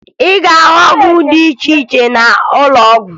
Ị ga-ahụ ọgwụ dị iche iche n'ụlọọgwụ